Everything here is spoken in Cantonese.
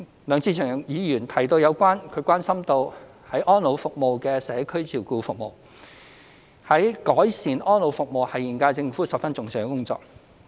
梁志祥議員關心安老服務的社區照顧服務，改善安老服務是現屆政府十分重視的工作。